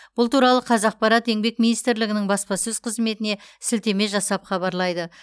бұл туралы қазақпарат еңбек министрлігінің баспасөз қызметіне сілтеме жасап хабарлайды